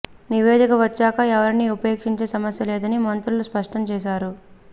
నివేదిక వచ్చాక ఎవరిని ఉపేక్షించే సమస్య లేదని మంత్రులు స్పష్టం చేశారు